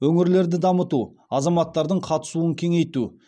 өңірлерді дамыту азаматтардың қатысуын кеңейту